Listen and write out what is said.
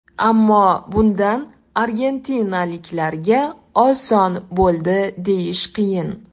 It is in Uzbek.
Ammo bundan argentinaliklarga oson bo‘ldi deyish qiyin.